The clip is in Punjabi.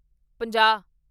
ਪੰਜਾਹ